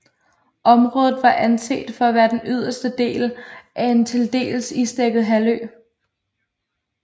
Området var anset for at være den yderste del af en til dels isdækket halvø